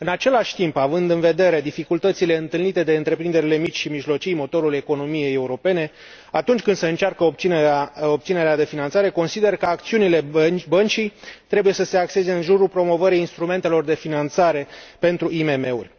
În același timp, având în vedere dificultățile întâlnite de întreprinderile mici și mijlocii, motorul economiei europene, atunci când se încearcă obținerea de finanțare, consider că acțiunile Băncii trebuie să se axeze în jurul promovării instrumentelor de finanțare pentru IMM uri.